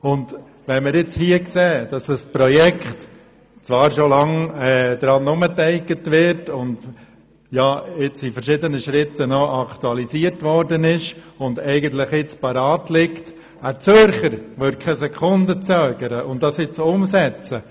In Anbetracht dessen, dass schon lange an einem Projekt «umeteigget» wird, jetzt noch verschiedene Schritte aktualisiert worden sind und das Projekt eigentlich bereit ist, würde ein Zürcher keine Sekunde zögern und es umsetzen.